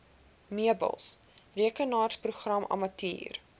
meubels rekenaarprogrammatuur